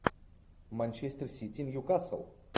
манчестер сити ньюкасл